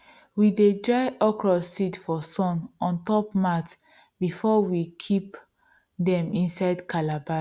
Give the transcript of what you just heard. we dey dry okro seeds for sun on top mat before we kip dem inside calabash